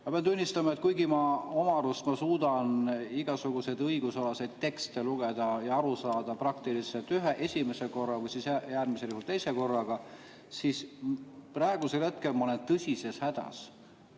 " Ma pean tunnistama, et kuigi ma oma arust suudan igasuguseid õigusalaseid tekste lugeda ja aru saada praktiliselt esimesel korral või siis äärmisel juhul teisel korral, siis praegusel hetkel ma olen tõsises hädas.